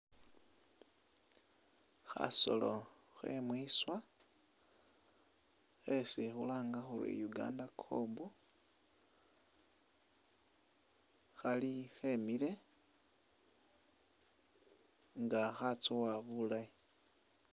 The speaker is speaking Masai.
Khasoolo khe'mwiswa khesi khulanga khuri Uganda kob khali khemile nga khatswowa bulaayi